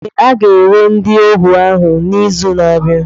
Ee, a ga-ere ndị ohu ahụ n'izu na-abịa.